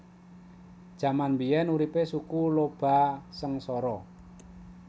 Jaman biyen uripe Suku Lhoba sengsara